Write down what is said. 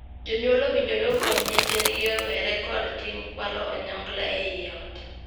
Jonyuol owinjore opuonj nyithindgi owere kod tim kwalo onyongla ei ot.